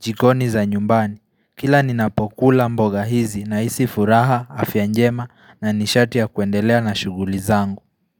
jikoni za nyumbani. Kila ni napokula mboga hizi na isi furaha, afya njema na nishati ya kuendelea na shuguli zangu.